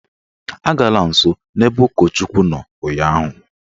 Agala nsọ n'ebe ụkọchukwu nọ ụnyaahụ!